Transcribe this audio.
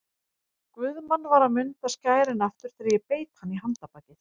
Guðmann var að munda skærin aftur þegar ég beit hann í handarbakið.